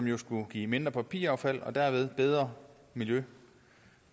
jo skulle give mindre papiraffald og dermed bedre miljø